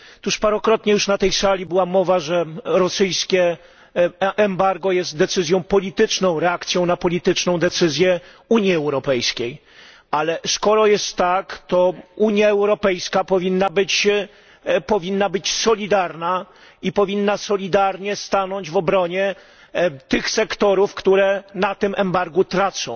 Już parokrotnie na tej sali była mowa, że rosyjskie embargo jest decyzją polityczną, reakcją na polityczną decyzję Unii Europejskiej ale skoro tak jest, to Unia Europejska powinna być solidarna i powinna solidarnie stanąć w obronie tych sektorów, które na tym embargu tracą.